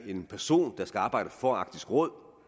en person der skal arbejde for arktisk råd